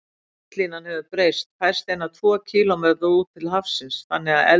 Strandlínan hefur breyst, færst eina tvo kílómetra út til hafsins, þannig að elsti